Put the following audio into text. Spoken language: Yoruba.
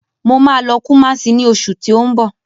Mo ma lọ Kumasi ní oṣù tí ó ń bọ̀